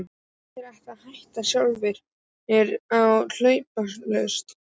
Flestir ætla að hætta sjálfir og hjálparlaust.